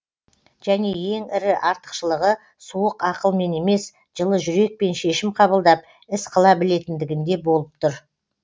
және ең ірі артықшылығы суық ақылмен емес жылы жүрекпен шешім қабылдап іс қыла білетіндігінде болып тұр